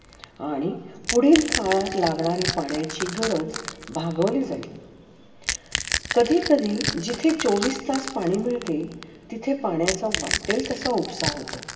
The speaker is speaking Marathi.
आणि पुढे काळात लागणारे पाणी ची गरज भागवली. कधि कधि जिथे चौविस तास पाणी मीळते, तिथे पान्याचा वाट्टेल तसा उत्साह होतो.